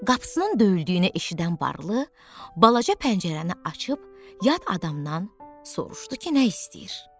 Qapısının döyüldüyünü eşidən varlı, balaca pəncərəni açıb yad adamdan soruşdu ki, nə istəyir?